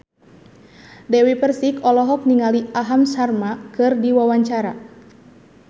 Dewi Persik olohok ningali Aham Sharma keur diwawancara